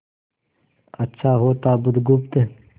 अच्छा होता बुधगुप्त